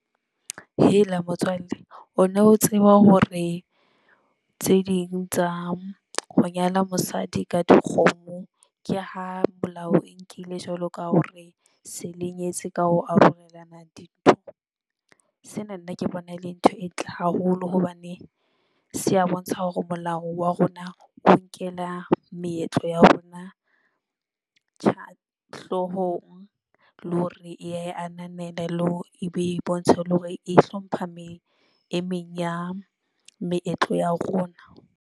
Hela motswalle, o no tseba hore tse ding tsa ho nyala mosadi ka dikgomo ke ha melao e nkile jwalo ka hore se le nyetse ka ho arolelana dintho? Sena nna ke bona e le ntho e ntle haholo hobane se a bontsha hore molao wa rona o nkela meetlo ya rona hloohong le hore e ya e ananela le hore ebe e ibontshe hore e hlompha meng e meng ya meetlo ya rona.